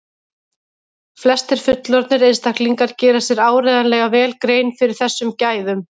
flestir fullorðnir einstaklingar gera sér áreiðanlega vel grein fyrir þessum gæðum